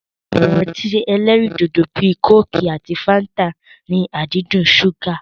Awọn ọtí ẹlẹ́rindòdò bíi kóòkì àti fáńtà ní àdídùn ṣúgà.